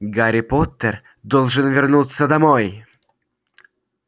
гарри поттер должен вернуться домой